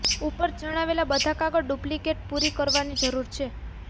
ઉપર જણાવેલા બધા કાગળ ડુપ્લિકેટ પૂરી કરવાની જરૂર છે